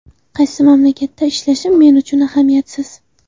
Qaysi mamlakatda ishlashim men uchun ahamiyatsiz.